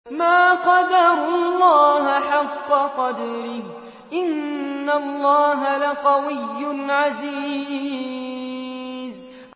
مَا قَدَرُوا اللَّهَ حَقَّ قَدْرِهِ ۗ إِنَّ اللَّهَ لَقَوِيٌّ عَزِيزٌ